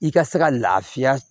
I ka se ka lafiya